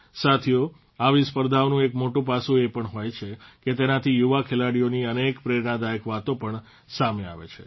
સાથીઓ આવી સ્પર્ધાઓનું એક મોટું પાસું એ પણ હોય છે કે તેનાથી યુવા ખેલાડીઓની અનેક પ્રેરણાદાયક વાતો પણ સામે આવે છે